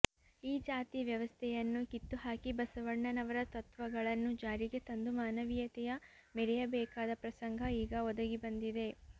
ಈ ಜಾತಿ ವ್ಯವಸ್ಥೆಯನ್ನು ಕಿತ್ತು ಹಾಕಿ ಬಸವಣ್ಣನವರ ತತ್ವಗಳನ್ನು ಜಾರಿಗೆ ತಂದು ಮಾನವೀಯತೆಯ ಮೆರೆಯಬೇಕಾದ ಪ್ರಸಂಗ ಈಗ ಒದಗಿಬಂದಿದೆ